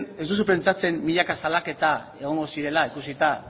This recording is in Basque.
ez duzu pentsatzen milaka salaketa egongo zirela ikusita